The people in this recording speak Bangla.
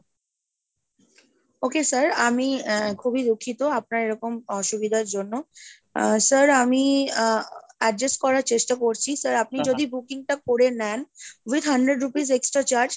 okay sir, আমি খুবই দুঃখিত আপনার এরকম অসুবিধার জন্য আহ sir আমি আহ adjust করার চেষ্টা করছি , sir আপনি যদি booking টা করে নেন with hundred rupees extra charge,